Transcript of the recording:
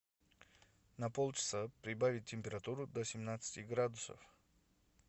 на полчаса прибавить температуру до семнадцати градусов